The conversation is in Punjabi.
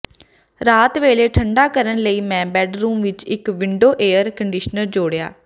ਰਾਤ ਵੇਲੇ ਠੰਢਾ ਕਰਨ ਲਈ ਮੈਂ ਬੈਡਰੂਮ ਵਿਚ ਇਕ ਵਿੰਡੋ ਏਅਰ ਕੰਡੀਸ਼ਨਰ ਜੋੜਿਆ